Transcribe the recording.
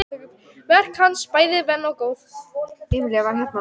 Verk hans bæði væn og góð.